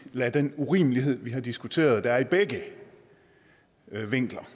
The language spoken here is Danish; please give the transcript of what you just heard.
lade den urimelighed vi har diskuteret der er i begge vinkler